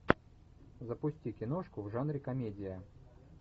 запусти киношку в жанре комедия